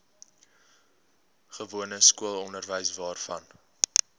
gewone skoolonderwys waarvan